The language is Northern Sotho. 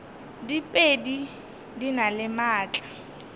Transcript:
diphedi di na le maatla